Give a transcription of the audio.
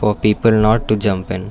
the people not to jumping.